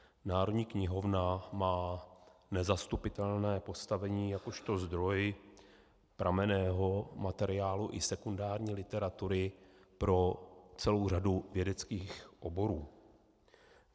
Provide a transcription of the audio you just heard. Národní knihovna má nezastupitelné postavení jakožto zdroj pramenného materiálu i sekundární literatury pro celou řadu vědeckých oborů.